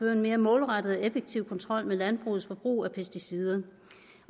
en mere målrettet og effektiv kontrol med landbrugets forbrug af pesticider